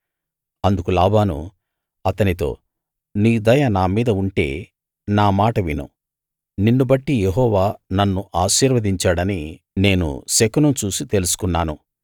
అందుకు లాబాను అతనితో నీ దయ నా మీద ఉంటే నా మాట విను నిన్ను బట్టి యెహోవా నన్ను ఆశీర్వదించాడని నేను శకునం చూసి తెలుసుకున్నాను